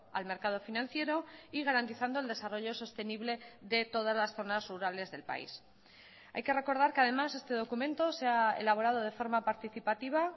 al mercado financiero y garantizando el desarrollo sostenible de todas las zonas rurales del país hay que recordar que además este documento se ha elaborado de forma participativa